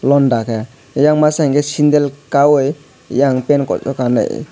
londa ke ayang masa hingke sandal kayou eyang pan kolok kanoi.